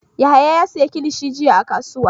Yahaya ya sayi kilishi jiya a kasuwa.